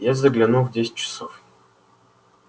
я загляну в десять часов